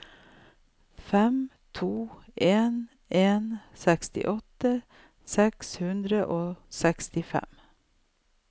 fem to en en sekstiåtte seks hundre og sekstifem